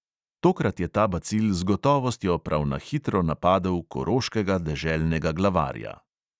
Tokrat je ta bacil z gotovostjo prav na hitro napadel koroškega deželnega glavarja.